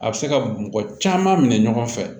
A bɛ se ka mɔgɔ caman minɛ ɲɔgɔn fɛ